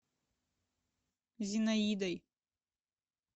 зинаидой